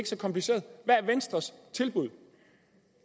så kompliceret hvad er venstres tilbud